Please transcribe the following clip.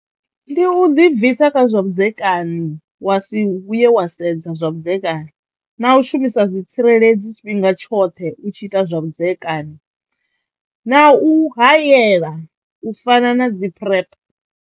Ndi u ḓibvisa kha zwavhudzekani wa si vhuye wa sedza zwavhudzekani na u shumisa zwitsireledzi tshifhinga tshoṱhe u tshi ita zwavhudzekani na u hayela u fana na dzi PrEP.